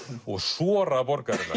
og sora borgarinnar